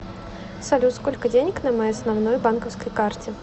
салют сколько денег на моей основной банковской карте